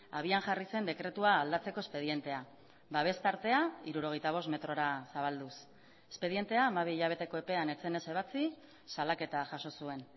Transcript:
abian jarri zen dekretua aldatzeko espedientea babes tartea hirurogeita bost metrora zabalduz espedientea hamabi hilabeteko epean ez zenez ebatsi salaketa jaso zuen